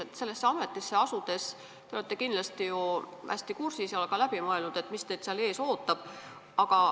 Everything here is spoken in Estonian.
Enne sellesse ametisse asumist te olete kindlasti end hästi asjadega kurssi viinud ja läbi mõelnud, mis teid seal ees ootab.